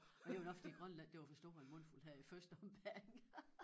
Men det var nok fordi Grønland det var for stor en mundfuld her i første ombæring